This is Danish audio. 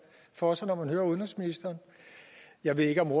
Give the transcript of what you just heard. for sig når man hører udenrigsministeren jeg ved ikke om